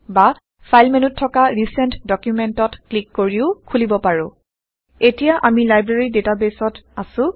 বা ফাইল মেন্যুত থকা ৰিচেন্ট ডুকুমেন্টত ক্লিক কৰিও খোলিব পাৰে এতিয়া আমি লাইব্ৰেৰী ডেটাবেইছত আছো